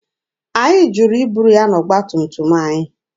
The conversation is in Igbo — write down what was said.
Anyị jụrụ iburu ya n'ọgba tum tum anyị.